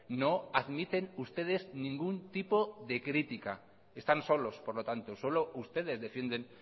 no admiten ustedes ningún tipo de crítica están solos por lo tanto solo ustedes defienden